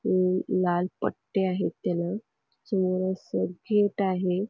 लाल पट्टे आहेत त्याला समोर असं गेट आहे.